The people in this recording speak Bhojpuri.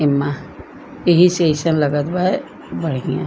इमा एहि से आइसन लागत बा बढ़िया --